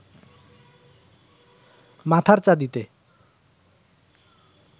মাথার চাঁদিতে